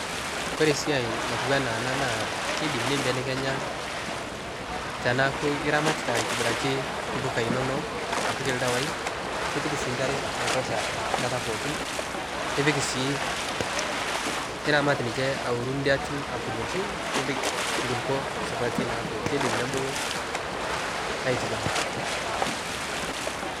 kore siai natuwana ana naa keidim neibelekenya tanaaku iramatita aitibiraki mpuka inono apik ldawai nipik sii nkare naitosha nkata pookin nipik sii niramat ninshe aworuu ndiatii akurokii nipik nkulipoo supati neaku keidim nebulu aitibiraki